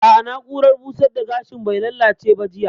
A'a, na'urar busar da gashin bai lallace ba jiya